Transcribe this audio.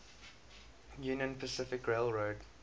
union pacific railroad